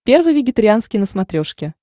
первый вегетарианский на смотрешке